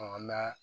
an b'a